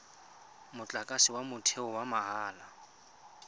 motlakase wa motheo wa mahala